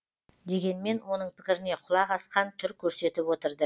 дегенмен оның пікіріне құлақ асқан түр көрсетіп отырды